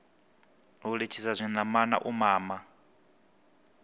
u litshisa zwinamana u mama